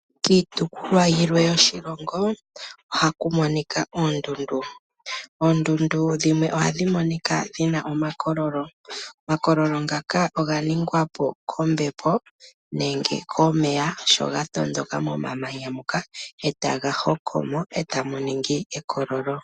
Kiitopolwa yimwe yoshilongo ohaku monika oondundu. Oondundu dhimwe ohadhi monika dhi na omakololo. Omakololo ngaka oga ningwa po kombepo nenge komeya sho ga tondoka momamanya muka e taga hoko mo e tamu ningi omakololo.